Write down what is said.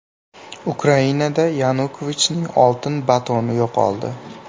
Ukrainada Yanukovichning oltin batoni yo‘qoldi.